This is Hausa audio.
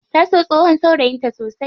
Ta so tsohon saurayin ta sosai.